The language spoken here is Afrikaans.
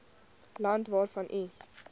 land waarvan u